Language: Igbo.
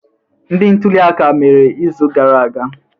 Ndi ntuli aka mere izu gara aga?